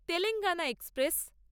Telangana express